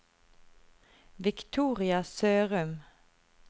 Victoria Sørum